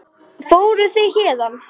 Fóruð þið hérna?